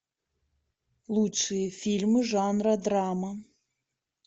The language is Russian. лучшие фильмы жанра драма